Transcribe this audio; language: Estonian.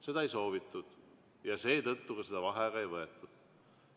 Seda ei soovitud ja seetõttu seda vaheaega ei võetud.